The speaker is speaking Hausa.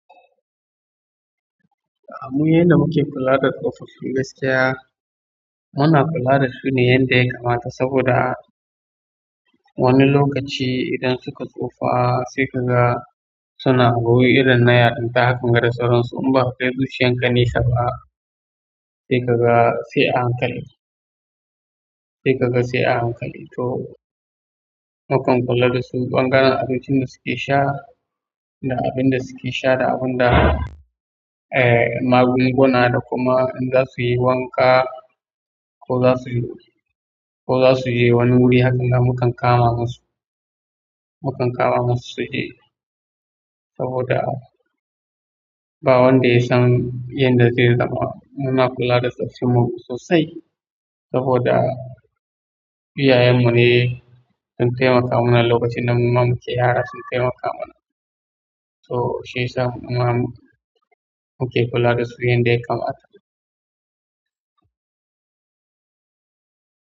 Mu yanda muke kula da tsofaffi gaskiya muna kula dasu ne yanda yakamata saboda wani lokaci idan suka tsufa sai kaga suna abu irin na yarinta haka ga da sauran su in baka kai zuciya nesaba. Sai kaga sai a hankali, sai kaga sai a hankali to mukan kula da su ɓangaren abincin da suke sha da abin da suke sha da abin da, eh, magunguna da kuma in za su yi wanka ko za su yi, ko za su yi wani wuri haka, mukan kama musu, mukan kama musu su yi saboda ba wanda ya san yanda zai zama. Muna kula da tsoffin mu sosai saboda iyayayen mu ne sun taimaka mana lokacin da muke yara sun taimaka mana. To shi ya sa muke kula da su yanda ya kamata.